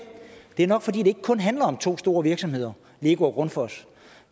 det er nok fordi det ikke kun handler om to store virksomheder lego og grundfos